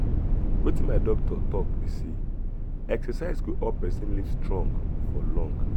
wetin my doctor talk be say exercise go help person live strong for long.